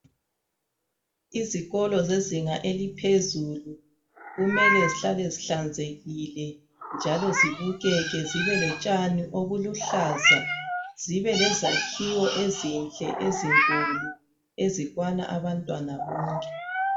Izikolo zezinga eliphezulu kumele zihlale zihlanzekile njalo zibukeke zibelotshani obuluhlaza zibelezakhiwo ezinhle ezinkulu ezikwana abantwana bonke.